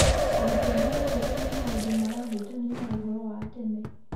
Arutwo mararĩrĩria maũndũ marahutania na ũhoro wa tene.